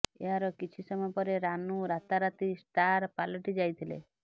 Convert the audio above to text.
ଏହାର କିଛି ସମୟ ପରେ ରାନୁ ରାତାରାତି ଷ୍ଟାର ପାଲଟିଯାଇଥିଲେ